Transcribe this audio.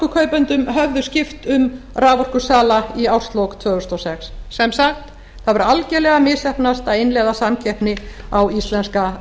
af raforkukaupendum höfðu skipt um raforkusala í árslok tvö þúsund og sex sem sagt það hefur algjörlega misheppnast að innleiða samkeppni á íslenska